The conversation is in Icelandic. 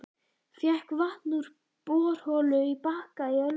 Fékk vatn úr borholu á Bakka í Ölfusi.